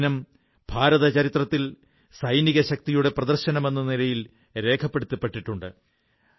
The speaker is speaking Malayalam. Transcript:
ആ ദിനം ഭാരതചരിത്രത്തിൽ സൈനിക ശക്തിയുടെ പ്രദർശനമെന്ന നിലയിൽ രേഖപ്പെടുത്തപ്പെട്ടിട്ടുണ്ട്